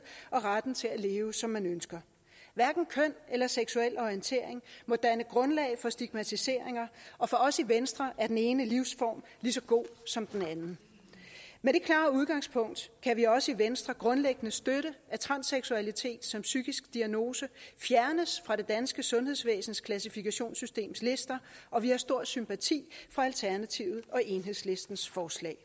og retten til at leve som man ønsker hverken køn eller seksuel orientering må danne grundlag for stigmatiseringer og for os i venstre er den ene livsform lige så god som den anden med det klare udgangspunkt kan vi også i venstre grundlæggende støtte at transseksualitet som psykisk diagnose fjernes fra det danske sundhedsvæsens klassifikationssystems lister og vi har stor sympati for alternativet og enhedslistens forslag